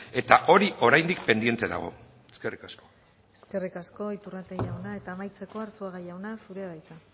eta hori oraindik pendiente dago eskerrik asko eskerrik asko iturrate jauna eta amaitzeko arzuaga jauna zurea da hitza